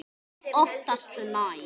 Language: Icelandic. Oftast nær